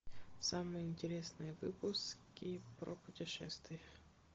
самые интересные выпуски про путешествия